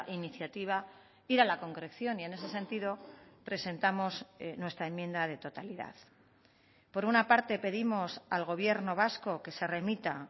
iniciativa ir a la concreción y en ese sentido presentamos nuestra enmienda de totalidad por una parte pedimos al gobierno vasco que se remita